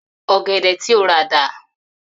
Ò̩gè̩dè̩ tí o rà dà?